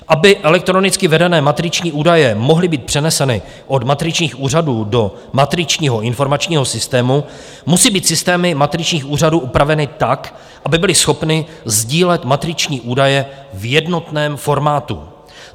Aby elektronicky vedené matriční údaje mohly být přeneseny od matričních úřadů do matričního informačního systému, musí být systémy matričních úřadů upraveny tak, aby byly schopny sdílet matriční údaje v jednotném formátu.